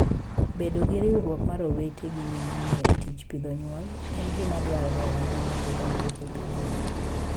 Bedo gi riwruok mar owete gi nyimine e tij pidho nyuol, en gima dwarore ahinya mondo dongruok obedie.